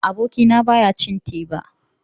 Abokina ba ya cin teba.